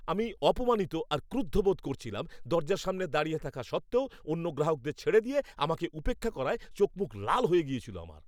আমি অপমানিত আর ক্রুদ্ধ বোধ করছিলাম, দরজার সামনে দাঁড়িয়ে থাকা সত্ত্বেও অন্য গ্রাহকদের ছেড়ে দিয়ে আমাকে উপেক্ষা করায় চোখমুখ লাল হয়ে গেছিল আমার।